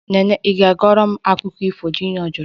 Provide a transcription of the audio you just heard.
Nene ị ga-agwa m akụkọ ifo? Junior jụrụ